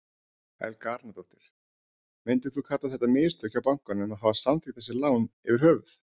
Helga Arnardóttir: Myndirðu kalla þetta mistök hjá bankanum að hafa samþykkt þessi lán yfir höfuð?